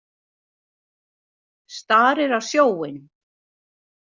Starir á sjóinn.